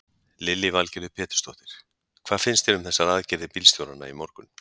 Lillý Valgerður Pétursdóttir: Hvað finnst þér um þessar aðgerðir bílstjóranna í morgun?